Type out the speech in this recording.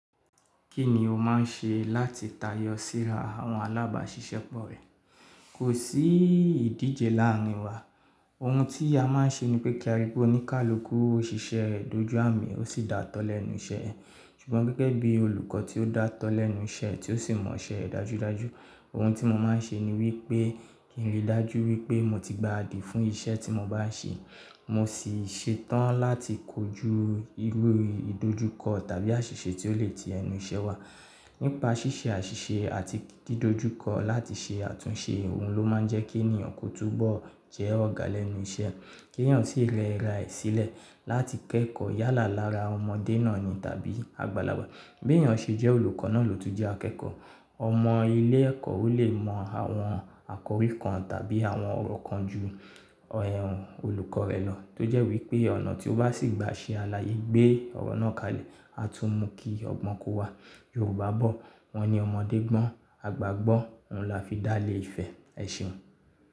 Kí ni o máa ń ṣe láti tayọ síra àwọn alábàáṣiṣẹ́ pọ̀ rẹ? Kò sí ìdíjè láàárín wa. Ohun tí a máa ń ṣe ni pé kí a ríi pé oníkálukú òṣìṣẹ́ rẹ̀ dojú àmì ó sì dá tọ́ lẹ́nu iṣẹ́ ẹ. Ṣùgbọ́n gẹ́gẹ́ bí olùkọ́ tí ó dá tọ́ lẹ́nu iṣẹ́ tí ó sì mọ iṣẹ́ rẹ̀ dájúdájú, ohun tí mo máa ń ṣe ni wípé kí n rí dájú wípé mo ti gbaradi fún iṣẹ́ tí mo bá ń ṣe. Mo sì ṣetán láti kojú irú ìdojúkọ tàbí àṣìṣe tí ó lè ti ẹnu iṣẹ́ wa. Nípa ṣíṣe àṣìṣe àti dídòjúkọ láti ṣe àtúnṣe ohun ló máa ń jẹ́ kí ènìyàn kó túbọ̀ jẹ́ ọ̀gá lẹ́nu iṣẹ́. Kí ènìyàn sì rẹ raẹ̀ sílẹ̀ láti kẹ́kọ̀ọ́ yálà lára ọmọdé náà ni tàbí àgbàlagbà. Bí ènìyàn ṣe jẹ́ olùkọ́ náà ló tún jẹ́ akẹ́kọ̀ọ́. Ọmọ ilé ẹ̀kọ́ ó lè mọ àwọn àkòrí kan tàbí àwọn ọ̀rọ̀ kan ju olùkọ́ rẹ̀ lọ. Tójẹ́ wípé ọ̀nà tí ó bá sì gba ṣe aláyè gbé ọ̀rọ̀ náà kalẹ̀. A tún mú kí ọgbọ́n kó wa. Yorùbá bọ̀ wọ́n ni ọmọdé gbọ́n, àgbà gbọ́n. Ohun là fi dá lé ìfẹ́. Ẹ ṣeun.